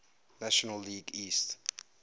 national league east